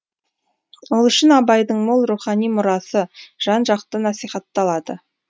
ол үшін абайдың мол рухани мұрасы жан жақты насихатталады